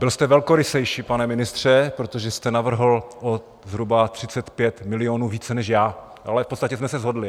Byl jste velkorysejší, pane ministře, protože jste navrhl o zhruba 35 milionů více než já, ale v podstatě jsme se shodli.